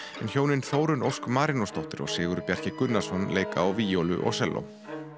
en hjónin Þórunn Ósk Marinósdóttir og Sigurður Bjarki Gunnarsson á víólu og selló